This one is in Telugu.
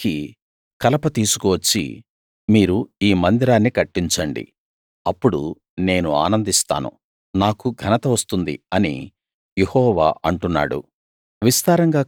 పర్వతాలెక్కి కలప తీసుకు వచ్చి మీరు ఈ మందిరాన్ని కట్టించండి అప్పుడు నేను ఆనందిస్తాను నాకు ఘనత వస్తుంది అని యెహోవా అంటున్నాడు